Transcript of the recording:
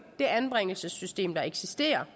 det anbringelsessystem der eksisterer